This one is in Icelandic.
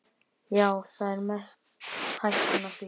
Já, það er mest hættan á því.